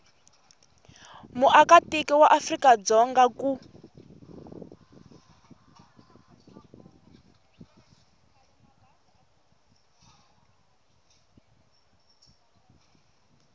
muakatiko wa afrika dzonga ku